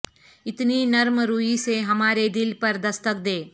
اتنی نرم روی سے ہمارے دل پر دستک دے